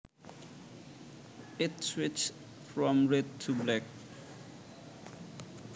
It switched from red to black